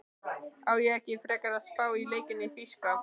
Á ég ekki frekar að spá í leikina í þýska?